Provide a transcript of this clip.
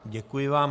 Děkuji vám.